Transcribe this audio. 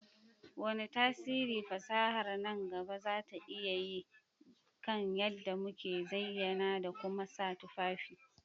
Wane tasiri fasahar nan gaba za ta iya yi kan yadda muke zayyana da kuma sa tufafi?